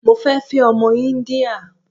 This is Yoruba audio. Mo fẹ́ fẹ́ ọmọ Íńdíà.